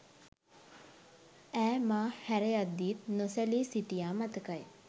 ඈ මා හැරයත්දීත් නොසැලී සිටියා මතකයි